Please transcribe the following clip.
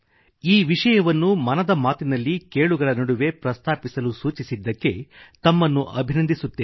ಈ ವಿಷಯವನ್ನು ಮನದ ಮಾತಿನಲ್ಲಿ ಕೇಳುಗರ ನಡುವೆ ಪ್ರಸ್ತಾವಿಸಲು ಸೂಚಿಸಿದ್ದಕ್ಕೆ ತಮ್ಮನ್ನು ಅಭಿನಂದಿಸುತ್ತೇನೆ